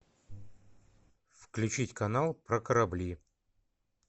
включить канал про корабли